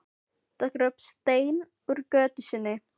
Tekur upp stein úr götu sinni.